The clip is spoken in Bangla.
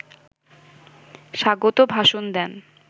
স্বাগত ভাষণ দেন